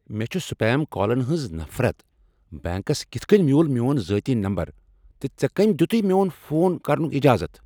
مےٚ چھ سِپیم کالن ہٕنز نفرت بینکس کتھ کٔنۍ میول میون ذٲتی نمبر تہٕ ژےٚ کٔمۍ دِیُتُے مے فون کرنُک اجازت؟